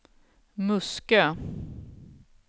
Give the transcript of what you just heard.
Muskö